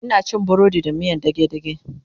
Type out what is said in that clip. Ina cin burodi da miyan dage dage